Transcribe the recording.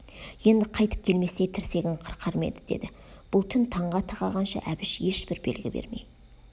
енді қайтып келместей тірсегін қырқар ма еді деді бұл түн таңға тақағанша әбіш ешбір белгі бермей